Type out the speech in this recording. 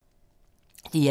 DR1